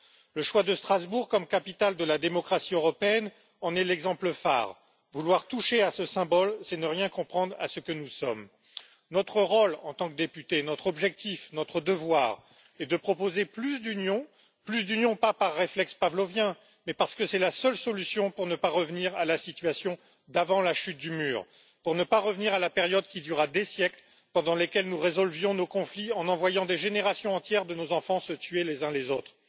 Le choix de Strasbourg comme capitale de la démocratie européenne en est l'exemple phare. Vouloir toucher à ce symbole, c'est ne rien comprendre à ce que nous sommes. En tant que députés, notre rôle, notre objectif, notre devoir est de proposer plus d'union, pas par réflexe pavlovien, mais parce que c'est la seule solution pour ne pas revenir à la situation d'avant la chute du mur, pour ne pas revenir à la période qui dura des siècles pendant laquelle nous résolvions nos conflits en envoyant des générations entières de nos enfants se tuer les uns les autres.